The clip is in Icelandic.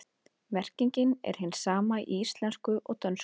Merkingin er hin sama í íslensku og dönsku.